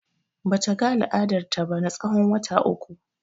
Bata ga al'adar ta ba na tsawon wata uku.